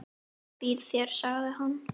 Ég býð þér, sagði hann.